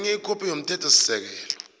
nenye ikhophi yomthethosisekelo